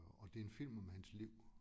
Og det en film om hans liv